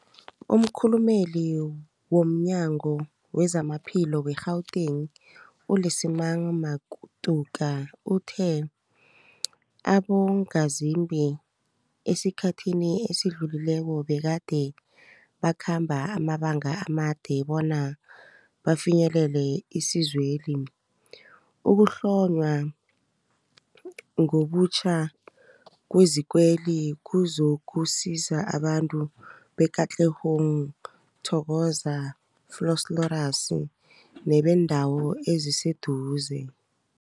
Umkhulumeli womNyango weZamaphilo we-Gauteng, u-Lesemang Matuka uthe abongazimbi esikhathini esidlulileko begade bakhamba amabanga amade bona bafinyelele isizweli. Ukuhlonywa ngobutjha kwezikweli kuzokusiza abantu be-Katlehong, Thokoza, Vosloorus nebeendawo eziseduze.